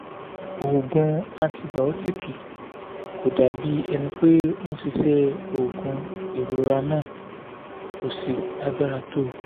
òògùn antibaotiki kò dàbí ẹni pé ó ń ṣiṣẹ́ òògùn ìrora náà kò sì lágbára tó